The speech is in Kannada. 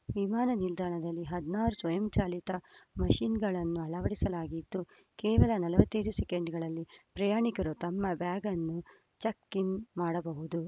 ವಿಮಾನ ನಿಲ್ದಾಣದಲ್ಲಿ ಹದಿನಾರು ಸ್ವಯಂಚಾಲಿತ ಮಷಿನ್‌ಗಳನ್ನು ಅಳವಡಿಸಲಾಗಿದ್ದು ಕೇವಲ ನಲವತ್ತ್ ಐದು ಸೆಕೆಂಡ್‌ಗಳಲ್ಲಿ ಪ್ರಯಾಣಿಕರು ತಮ್ಮ ಬ್ಯಾಗನ್ನು ಚೆಕ್‌ಇನ್‌ ಮಾಡಬಹುದು